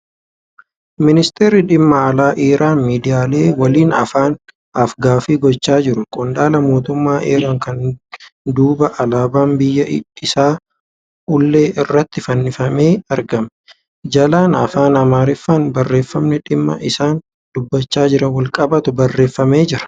Ministerri dhimma alaa Iraan miidiyaalee waliin af-gaaffii gochaa jiru. Qondaala mootummaa Iraan kana duuba alaabaan biyya isaa ulee irratti fannifamee argama. Jalaan Afaan Amaariffaan barreeffamni dhimma isaan dubbachaa jiraniin wal qabatu barreeffamee jira.